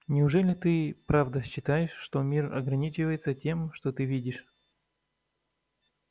неужели ты правда считаешь что мир ограничивается тем что ты видишь